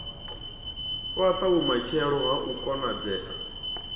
fhata vhumatshelo ha u konadzea